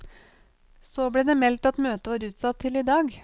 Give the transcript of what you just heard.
Så ble det meldt at møtet var utsatt til i dag.